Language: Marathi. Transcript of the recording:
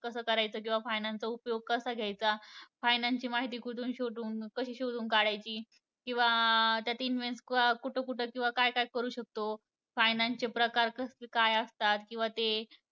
कसं करायचं किंवा finance चा उपयोग कसा घ्यायचा, finance ची माहिती कुठून शोधून कशी शोधून काढायची किंवा त्यात इन्वे कुठं कुठं किंवा काय काय करू शकतो, finance चे प्रकार कसं काय असतात किंवा ते